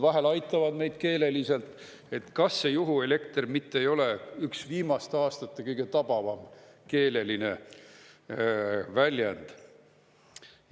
Vahel aitavad meid keeleliselt, et kas see "juhuelekter" mitte ei ole üks viimaste aastate kõige tabavam keeleline väljend.